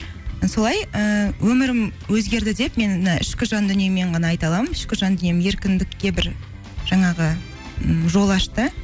солай ііі өмірім өзгерді деп мен мына ішкі жан дүниеммен ғана айта аламын ішкі жан дүнием еркіндікке бір жаңағы ммм жол ашты